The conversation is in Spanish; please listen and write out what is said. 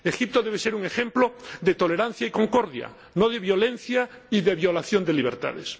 Egipto debe ser un ejemplo de tolerancia y concordia, no de violencia y de violación de libertades.